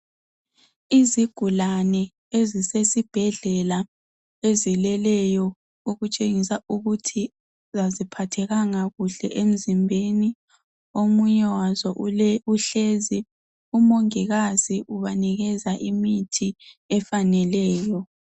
Izigulane ezisesibhedlela ezileleyo okutshengisa ukuthi aziphathekanga kuhle emzimbeni. Omunye waso ule uhlezi. Umongikazi ubanikeza imithi efaneleyo.